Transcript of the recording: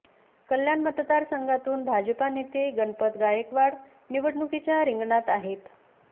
कल्याण मतदारसंघातून भाजपा नेते गणपत गायकवाड निवडणुकीच्या रिंगणात आहेत